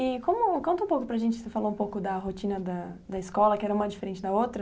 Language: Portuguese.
E, como, conta um pouco para a gente, você falou um pouco da da rotina da escola, que era uma diferente da outra.